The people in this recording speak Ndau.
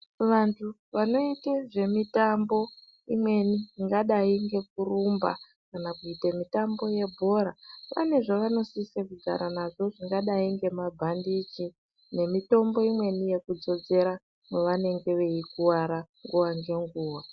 Vantu vanoita mitambo imweni ingadai ngekurumba kana kuita mitambo yebhora vane zvavanosisa kugara nazvo zvingadai ngemabhandiji nemitombo imweni yekudzodzera mavanenge veikuvara nguva nenguva